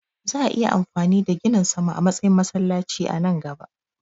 Za'a iya amfani da ginin sama a matsayin masallaci a nan gaba.